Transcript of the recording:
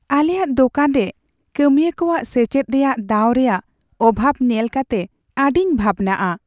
ᱟᱞᱮᱭᱟᱜ ᱫᱳᱠᱟᱱ ᱨᱮ ᱠᱟᱹᱢᱤᱭᱟᱹ ᱠᱚᱣᱟᱜ ᱥᱮᱪᱮᱫ ᱨᱮᱭᱟᱜ ᱫᱟᱣ ᱨᱮᱭᱟᱜ ᱚᱵᱷᱟᱵᱽ ᱧᱮᱞ ᱠᱟᱛᱮ ᱟᱹᱰᱤᱧ ᱵᱷᱟᱵᱱᱟᱜᱼᱟ ᱾